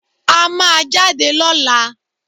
A má a jáde lọ́la